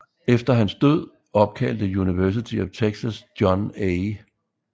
Efter hans død opkaldte University of Texas John A